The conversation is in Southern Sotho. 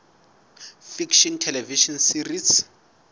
fiction television series